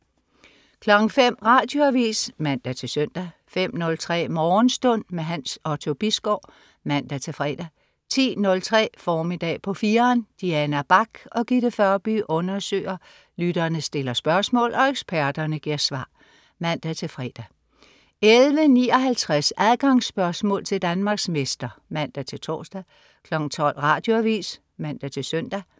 05.00 Radioavis (man-søn) 05.03 Morgenstund. Hans Otto Bisgaard (man-fre) 10.03 Formiddag på 4'eren. Diana Bach og Gitte Førby undersøger, lytterne stiller spørgsmål og eksperterne giver svar (man-fre) 11.59 Adgangsspørgsmål til Danmarksmester (man-tors) 12.00 Radioavis (man-søn)